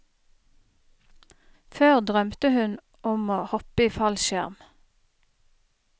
Før drømte hun om å hoppe i fallskjerm.